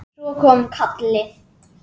Svo kom kallið.